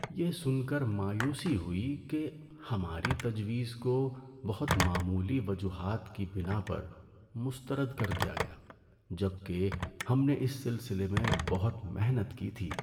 یہ سن کر مایوسی ہوئی کہ ہماری تجویز کو بہت معمولی وجوہات کی بناء پر مسترد کر دیا گیا جبکہ ہم نے اس سلسلے میں بہت محنت کی تھی۔